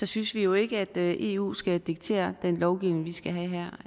synes vi jo ikke at eu skal diktere den lovgivning vi skal have her